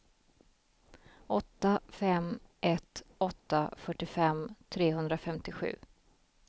åtta fem ett åtta fyrtiofem trehundrafemtiosju